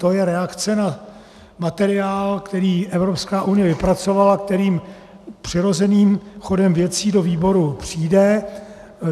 To je reakce na materiál, který Evropská unie vypracovala, který přirozeným chodem věcí do výboru přijde.